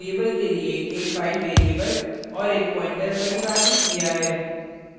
यहाँ file variable के लिए एक file variable और एक pointer परिभाषित किया है